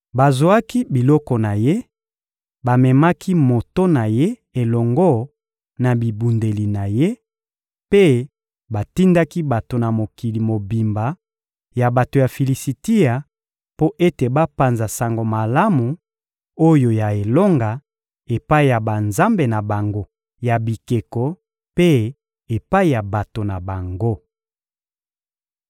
Bazwaki biloko na ye, bamemaki moto na ye elongo na bibundeli na ye, mpe batindaki bato na mokili mobimba ya bato ya Filisitia mpo ete bapanza sango malamu oyo ya elonga epai ya banzambe na bango ya bikeko mpe epai ya bato na bango.